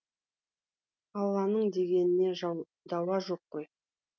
алланың дегеніне дауа жоқ қой